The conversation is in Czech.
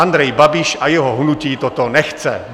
Andrej Babiš a jeho hnutí toto nechce.